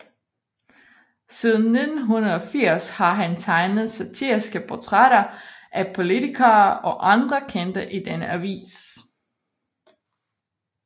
Siden 1980 har han tegnet satiriske portrætter af politikere og andre kendte i denne avis